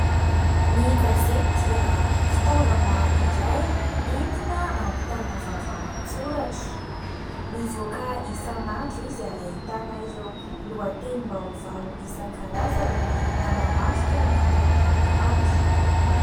ny kavedia fitavana iray intina ampitana vavao an-tsoratra mivoaka isan''andro izy ary hahitana ireo lohan-teny mba hovao isankarazany nanamasika ny tontolo andro